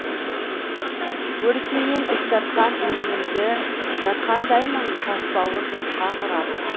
өрісіңнен із тартқан өлеңімді жатқандаймын тасбауыр жатқа құрап